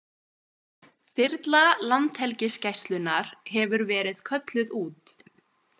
Þyrla Landhelgisgæslunnar hefur verið kölluð út